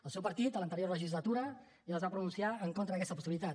el seu partit a l’anterior legislatura ja es va pronunciar en contra d’aquesta possibilitat